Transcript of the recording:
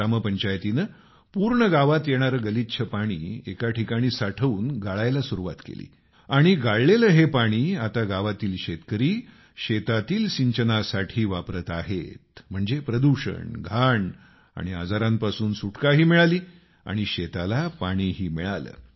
ग्रामपंचायतीनं पूर्ण गावात येणारं गलिच्छ पाणी एका ठिकाणी साठवून गाळायला सुरूवात केली आणि गाळलेलं हे पाणी आता गावातील शेतकरी शेतातील सिंचनासाठी वापरत आहेत म्हणजे प्रदूषण घाण आणि आजारांपासून सुटकाही मिळाली आणि शेताला पाणीही मिळालं